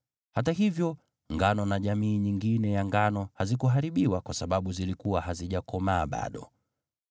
Hata hivyo, ngano na jamii nyingine ya ngano hazikuharibiwa kwa sababu zilikuwa hazijakomaa bado.)